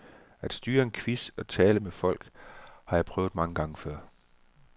At styre en quiz og tale med folk har jeg prøvet mange gange før.